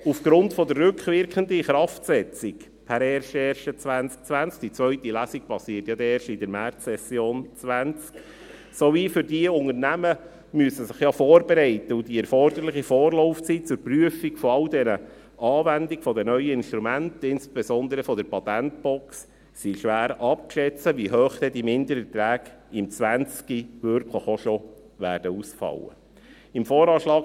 Aufgrund der rückwirkenden Inkraftsetzung per 01.01.2020 – die zweite Lesung erfolgt ja dann erst in der Märzsession 2020 – sowie der für die Unternehmen, die sich ja vorbereiten müssen, erforderlichen Vorlaufzeit zur Prüfung der Anwendung all der neuen Instrumente, insbesondere der Patentbox, ist schwer abzuschätzen, wie hoch die Mindererträge im Jahr 2020 wirklich bereits ausfallen werden.